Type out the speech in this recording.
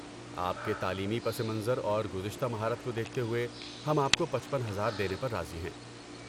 آپ کے تعلیمی پس منظر اور گزشتہ مہارت کو دیکھتے ہوئے ہم آپ کو پچپن ہزار دینے پر راضی ہیں